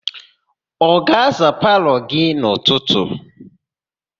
Ọ ga-aza palọ gị n'ụtụtụ?